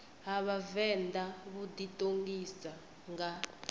ha vhavenḓa vhu ḓiṱongisa nga